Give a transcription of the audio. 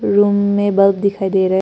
Room में bulb दिखाई दे रहा है।